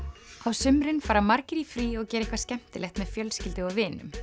sumrin fara margir í frí og gera eitthvað skemmtilegt með fjölskyldu og vinum